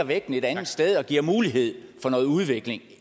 vægten et andet sted og give mulighed for noget udvikling